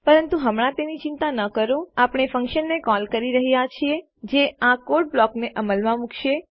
પરંતુ હમણાં તેની ચિંતા ન કરોઆપણે ફંક્શનને કોલ કરી રહ્યા છીએ જે આ કોડના બ્લોકને અમલમાં મુકશે